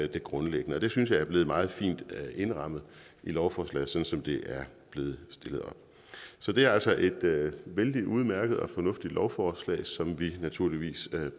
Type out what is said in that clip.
det grundlæggende det synes jeg er blevet meget fint indrammet i lovforslaget sådan som det er blevet stillet op så det er altså et vældig udmærket og fornuftigt lovforslag som vi naturligvis bakker